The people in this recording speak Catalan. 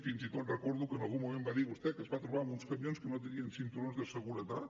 fins i tot recordo que en algun moment va dir vostè que es va trobar amb uns camions que no tenien cinturons de seguretat